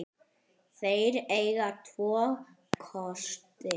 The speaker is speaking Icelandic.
Þeir eiga tvo kosti.